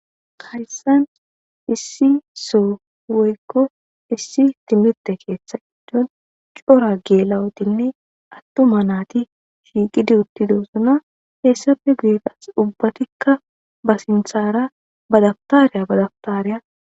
Haysan issi soho woyko issi timirte ketha gidon c'ora gela'otinne atuma nati shiqidi uthidosona heysape guye qase ubatika ba sintara ba dabtariya ba dabtariya.